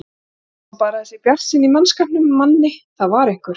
Já og svo bara þessi bjartsýni í mannskapnum, Manni, það var einhver